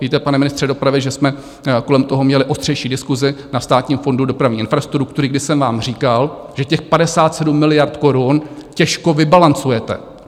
Víte, pane ministře dopravy, že jsme kolem toho měli ostřejší diskusi na Státním fondu dopravní infrastruktury, kdy jsem vám říkal, že těch 57 miliard korun těžko vybalancujete.